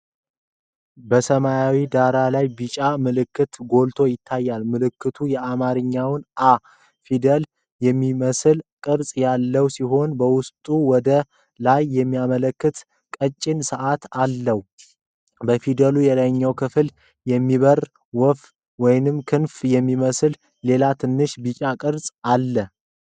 በሰማያዊ ዳራ ላይ ቢጫ ምልክት ጎልቶ ይታያል። ምልክቱ የአማርኛውን "አ" ፊደል የሚመስል ቅርጽ ያለው ሲሆን፣ በውስጡ ወደ ላይ የሚያመለክት ቀጭን ቀስት አለው። በፊደሉ የላይኛው ክፍል የሚበር ወፍ ወይም ክንፍ የሚመስል ሌላ ትንሽ ቢጫ ቅርጽ አለ።